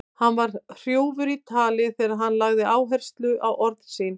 Hann var hrjúfur í tali þegar hann lagði áherslu á orð sín.